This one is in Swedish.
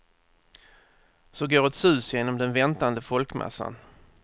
Så går ett sus genom den väntande folkmassan.